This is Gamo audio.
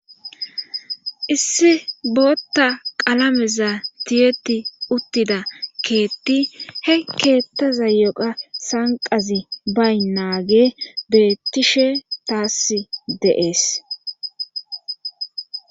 issi bootta qalameza tiyeti uttida keetti he keettaza yoqa sanqazi baynaagey beettishe taass de'ees